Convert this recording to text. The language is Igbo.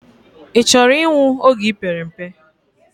I choro inwu oge ipere mpe?